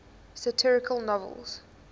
satirical novels